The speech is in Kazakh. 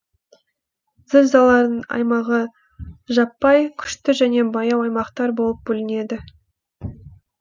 зілзаланың аймағы жаппай күшті және баяу аймақтар болып бөлінеді